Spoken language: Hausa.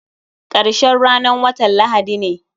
Karshen ranan watan lahadi ne.